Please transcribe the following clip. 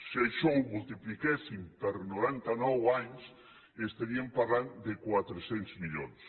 si això ho multipliquéssim per noranta nou anys estaríem parlant de quatre cents milions